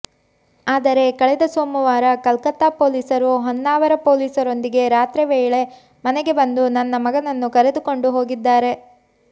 ಆದರೆ ಕಳೆದ ಸೋಮವಾರ ಕಲ್ಕತ್ತಾ ಪೊಲೀಸರು ಹೊನ್ನಾವರ ಪೊಲೀಸರೊಂದಿಗೆ ರಾತ್ರಿ ವೇಳೆ ಮನೆಗೆ ಬಂದು ನನ್ನ ಮಗನನ್ನು ಕರೆದುಕೊಂಡು ಹೋಗಿದ್ದಾರೆ